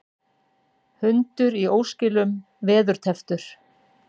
Hundur í óskilum veðurtepptur